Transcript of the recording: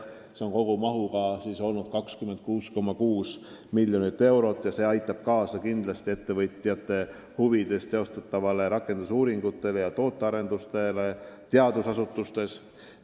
Selle kogumaht on olnud 26,6 miljonit eurot ja see aitab kindlasti kaasa ettevõtjate huvides teostatavatele rakendusuuringutele ja tootearendustele teadusasutustes.